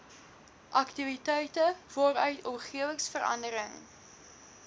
aktiwiteite waaruit omgewingsverandering